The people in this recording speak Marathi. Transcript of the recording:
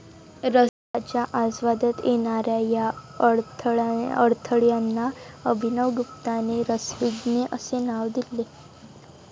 रसाच्या आस्वादात येणाऱ्या या अडथळ्यांना अभिनव गुप्ताने रसविघ्ने असे नाव दिले आहे.